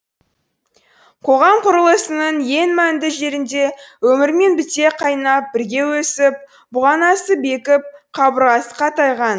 қоғам құрылысының ең мәнді жерінде өмірмен біте қайнап бірге өсіп бұғанасы бекіп қабырғасы қатайған